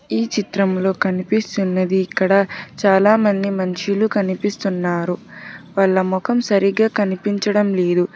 ఈ చిత్రంలో కనిపిస్తున్నది ఇక్కడ చాలా మంది మనుషులు కనిపిస్తున్నారు వాళ్ళ మొఖం సరిగా కనిపించడం లేదు.